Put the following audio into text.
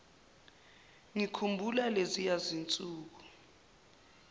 ngikhumbula leziya zinsuku